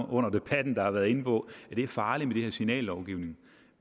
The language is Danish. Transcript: under debatten har været inde på at det er farligt med signallovgivning